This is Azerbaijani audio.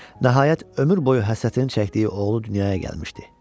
Nəhayət ömür boyu həsrətini çəkdiyi oğlu dünyaya gəlmişdi.